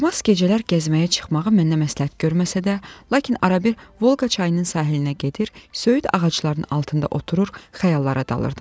Romas gecələr gəzməyə çıxmağı mənə məsləhət görməsə də, lakin arabir Volqa çayının sahilinə gedir, söyüd ağaclarının altında oturur, xəyallara dalırdım.